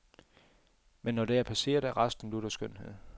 Men når det er passeret, er resten lutter skønhed.